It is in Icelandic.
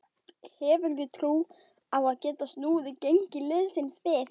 Hefurðu trú á að geta snúið gengi liðsins við?